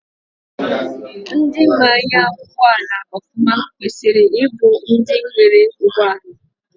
Ndị maa anya ụgbọala ọfụma kwesiri ịbụ ndị nwere ụgbọala.